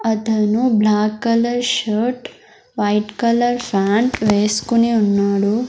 అతను black colour shirt white colour pant వేస్కొని ఉన్నాడు.